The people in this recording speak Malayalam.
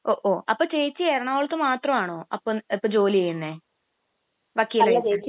അപ്പൊ ചേച്ചി എറണാകുളത്ത് മാത്രമാണോ അപ്പൊ ജോലി ചെയ്യുന്നേ വക്കീലായിട്ട്?